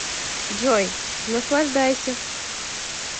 джой наслаждайся